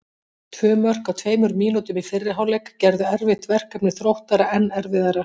Tvö mörk á tveimur mínútum í fyrri hálfleik gerðu erfitt verkefni Þróttara enn erfiðara.